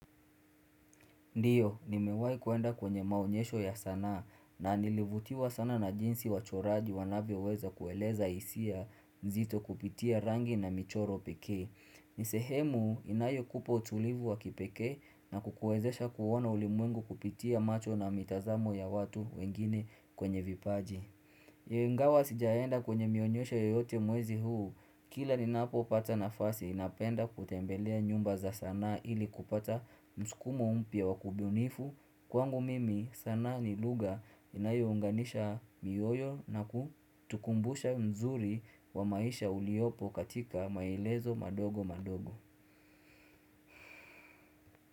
Ndiyo, nimewahi kuenda kwenye maonyesho ya sanaa na nilivutiwa sana na jinsi wachoraji wanavyo weza kueleza hisia nzito kupitia rangi na michoro pekee. Nisehemu inayo kupa utulivu wa kipekee na kukuwezesha kuona ulimwengu kupitia macho na mitazamo ya watu wengine kwenye vipaji. Ingawa sijaenda kwenye mionyesho yoyote mwezi huu Kila ni napo pata nafasi napenda kutembelea nyumba za sanaa ili kupata msukumo mpia wa kudunifu Kwangu mimi sana ni lugha inayounganisha mioyo na kutukumbusha mzuri wa maisha uliopo katika maelezo madogo madogo.